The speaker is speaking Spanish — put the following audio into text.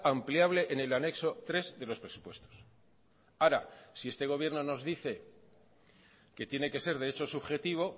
ampliable en el anexo tres de los presupuestos ahora si este gobierno nos dice que tiene que ser derecho subjetivo